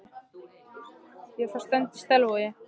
Ég er frá Strönd í Selvogi.